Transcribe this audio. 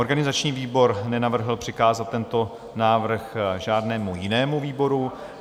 Organizační výbor nenavrhl přikázat tento návrh žádnému jinému výboru.